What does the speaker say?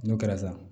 N'o kɛra sa